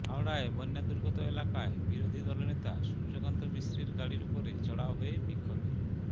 হাওড়ায় বন্যাদুর্গত এলাকায় বিরোধী দলনেতা সূর্যকান্ত মিশ্রের গাড়ির উপরে চড়াও হয়ে বিক্ষোভের